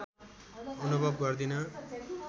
अनुभव गर्दिन